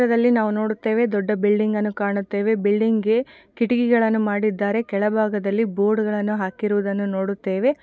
ಇದರಲ್ಲಿ ನಾವು ನೋಡುತ್ತೇವೆ ದೊಡ್ಡ ಬಿಲ್ಡಿಂಗ್ ಅನ್ನು ಕಾಣುತ್ತೇವೆ ಬಿಲ್ಡಿಂಗಿಗೆ ಕಿಟಕಿಗಳನ್ನು ಮಾಡಿದ್ದಾರೆ ಕೆಳಭಾಗದಲ್ಲಿ ಬೋರ್ಡ್ ಗಳನ್ನು ಹಾಕಿರುವುದನ್ನು ನೋಡುತ್ತೇವೆ.